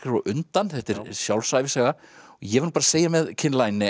undan þetta er sjálfsævisaga ég verð nú segja með Kim